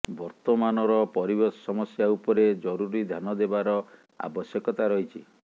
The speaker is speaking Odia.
ବର୍ତ୍ତମାନର ପରିବେଶ ସମସ୍ୟା ଉପରେ ଜରୁରୀ ଧ୍ୟାନ ଦେବାର ଆବଶ୍ୟକତା ରହିଛି